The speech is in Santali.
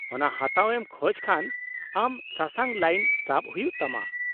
-ᱚᱱᱟ ᱦᱟᱛᱟᱣ ᱮᱢ ᱠᱷᱚᱡ ᱠᱷᱟᱱ ᱟᱢ ᱥᱟᱥᱟᱝ ᱞᱟᱭᱤᱱ ᱥᱟᱵ ᱦᱩᱭᱩᱜ ᱛᱟᱢᱟ ᱾